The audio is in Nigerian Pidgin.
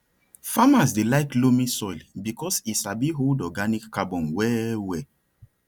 farmers dey like loamy soil because e sabi hold organic carbon well well